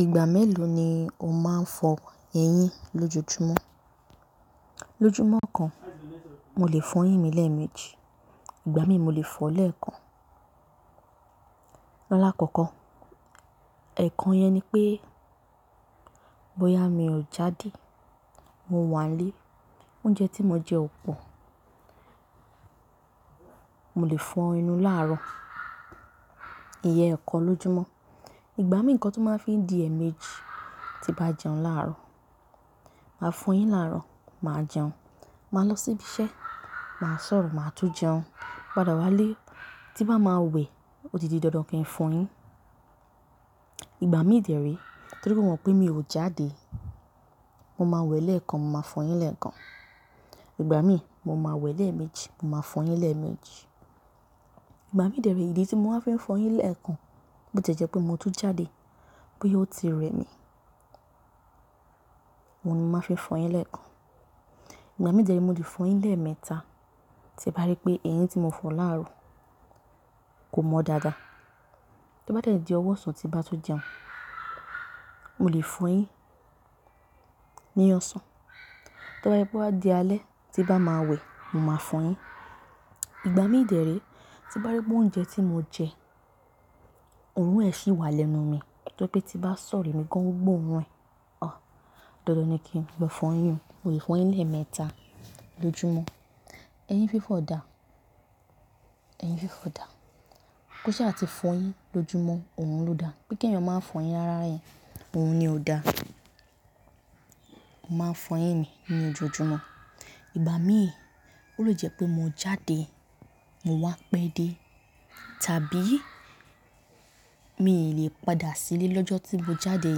Ìgbà mélòó ni o máa ń fọ eyín lójoójúmọ́? Lójúmọ́ kan, mo lè fọ eyín mi lẹ́ẹ̀mejì, ìgbà mí mo lè fọọ lẹ́ẹ̀kan. Láàkọ́kọ́, ẹ̀ẹ̀kan yẹn ni pé bóyá mi ò jáde, mo wà nílé, oúnjẹ tí mo jẹ ò pọ̀, mo lè fọ enú láàrọ̀, ìyẹn ẹ̀ẹ̀kan lójúmọ́. Ìgbà mìíràn kan tó máa ń fi di ẹ̀ẹ̀mejì, tí bá jẹun láàrọ̀, màá fọ eyín láàrọ̀, màá jẹun, màá lọ sí ibi iṣẹ́, màá sọ̀rọ̀, màá tún jẹun, padà wá ilé, tí bá máa wẹ̀, ó di ti dandan kí n fọ eyín. Ìgbà mí dẹ̀ rí torí pé mo mọ̀ pé mi ò jáde, mo máa wẹ̀ lẹ́ẹ̀kan, mo máa fọ eyín lẹ́ẹ̀kan. Ìgbà mí, mo máa wẹ̀ lẹ́ẹ̀mejì, mo máa fọ eyín lẹ́ẹ̀mejì. Ìgbà mí dẹ̀ rí, ìdí tí mo máa ń fi fọ eyín lẹ́ẹ̀kan bó ti jẹ́ pé mo tun jáde pé ó ti rẹ mí, mo ni màá fi fọ eyín lẹ́ẹ̀kan. Ìgbà mí dẹ̀ rí mo lè fọ eyín lẹ́ẹ̀mẹ́ta tí bá rí pé eyín tí mo fọ láàrọ̀ kò mọ dáadáa. Tó bá dẹ̀ di ọwọ́ ọ̀sán tí bá tún jẹun, mo lè fọ eyín ní ọ̀sán. Tí bá rí pé ó bá di alẹ́ tí bá máa wẹ̀, mo máa fọ eyín. Ìgbà mí dẹ̀ rí tí bá rí pé oúnjẹ tí mo jẹ, òórùn ẹ̀ sì wà lẹ́nu mi, torí pé tí bá sọ̀rọ̀ mi èmi gan gbọ́ orun ẹ, òh, dandan ni kí n lọ fọ eyín mi. Mo lè fọ eyín lẹ́ẹ̀mẹ́ta lójúmọ́. Eyín fífọ̀ dáa, ẹyín fífọ̀ dáa. Kó ṣa ti fọ eyín lójúmọ́ òun ló dá. Pé kí eéyan máa ń fọ eyín rára yẹn, òun ni ó dá. Mo máa ń fọ eyín mi ní ojoojúmọ́. Ìgbà mí ó lè jẹ́ pé mo jáde, mo wá pẹ́ dé tàbí mi ò lè padà sílé lọ́jọ́ tí mo jáde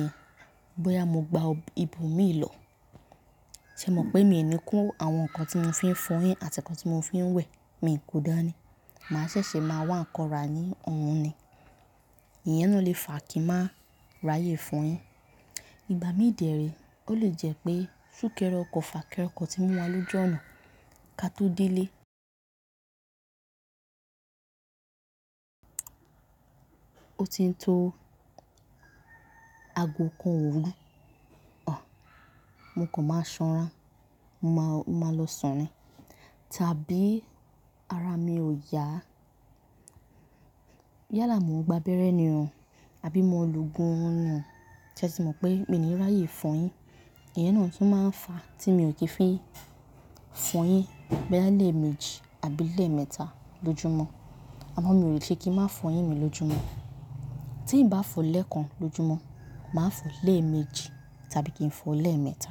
yẹn, bóyá mo gba ibo mi lọ. Ṣé ẹ mọ̀ pé mi ò ní kó àwọn nǹkan tí mo fi ń fọ eyín àti nǹkan tí mo fi ń wẹ̀, mi kò dáa ni. Màá ṣẹ̀ṣẹ̀ máa wá ńnkan ra ní ohun ni. Ìyẹn náà lè fà kí máa ráyè fọ eyín. Ìgbà mí dẹ̀ re ó lè jẹ́ pé súkẹ́rẹ́ ọkọ̀, fàkẹ́rẹ́ ọkọ̀ tí mu wá lójú ọ̀nà kí a tó dé ilé, ó ti ń tó aago kan òru. Òh, mo kan máa sanra, mo máa lọ sùn ni tàbí ara mi ò yá. Yálà mo gba abẹ́rẹ́ ni oo àbí mo lo ogún ọ̀run nhi oo, ṣé ẹ ti mọ̀ pé mi ò ní ráyè fọ eyín. Ìyẹn náà tún máa ń fa tí mi ò kì í fi fọ eyín lẹ́ẹ̀mejì àbí lẹ́ẹ̀mẹ́ta lójúmọ́. Àmọ́ mi ò lè ṣe kí n má fọ eyín mi lójúmọ́. Tí ì bá fọ lẹ́ẹ̀kan lójúmọ́, màá fọ lẹ́ẹ̀mejì tàbí kí n fọ lẹ́ẹ̀mẹ́ta.